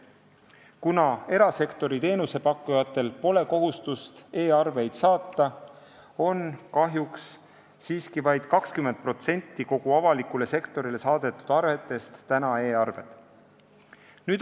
Kuna erasektori teenusepakkujatel pole kohustust e-arveid saata, on kahjuks siiski vaid 20% kogu avalikule sektorile saadetud arvetest e-arved.